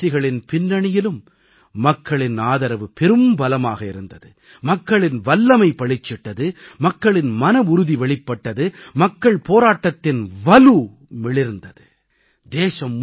அனைத்து வெற்றிகளின் பின்னணியிலும் மக்களின் ஆதரவு பெரும்பலமாக இருந்தது மக்களின் வல்லமை பளிச்சிட்டது மக்களின் மனவுறுதி வெளிப்பட்டது மக்கள் போராட்டத்தின் வலு மிளிர்ந்தது